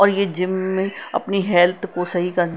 और ये जिम में अपनी हेल्थ को सही कर--